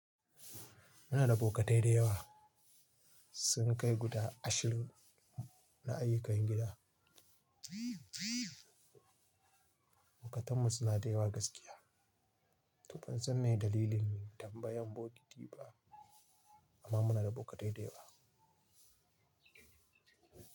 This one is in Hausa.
Muna da bokatai dayawa sun kai guda ashirin na ayyukan gida. Bokatanmu suna da yawa gaskiya. To bansan mai dalilin tambayan bokiti ba amma muna da bokatai dayawa.